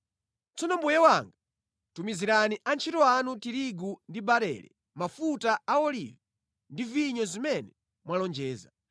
“Tsono mbuye wanga tumizirani antchito anu tirigu ndi barele, mafuta a olivi ndi vinyo zimene mwalonjeza,